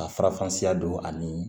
Ka farafan siya don ani